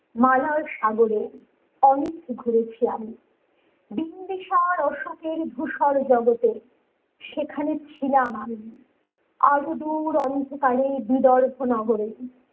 মালার সাগরে অনেক ঘুরেছি আমি বিন্দিসার অশোকের ভুসর জগতে সেখানে ছিলাম আমি আজও দূর অন্ধকারে বিরল ভূণগরে